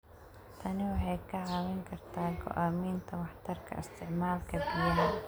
Tani waxay kaa caawin kartaa go'aaminta waxtarka isticmaalka biyaha.